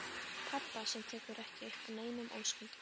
Pabba sem tekur ekki upp á neinum óskunda.